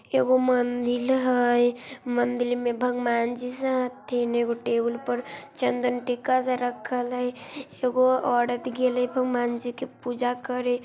एक मंदिर हेय मंदिर में भगवान जी सब हथीन एगो टेबुल पर चंदन टीका सब रखल हेय एगो औरत गले भगवान जी के पूजा करे।